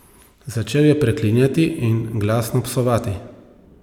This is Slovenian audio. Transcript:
Začel je preklinjati in glasno psovati.